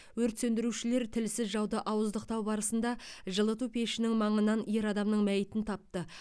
өрт сөндірушілер тілсіз жауды ауыздықтау барысында жылыту пешінің маңынан ер адамның мәйітін тапты